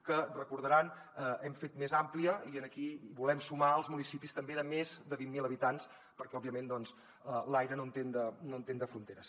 que recordaran hem fet més àmplia i aquí hi volem sumar els municipis també de més de vint mil habitants perquè òbviament doncs l’aire no entén de fronteres